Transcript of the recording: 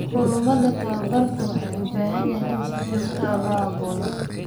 Kulamada tababarku waxay u baahan yihiin in si joogto ah loo abaabulo.